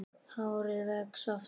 Hárið vex aftur.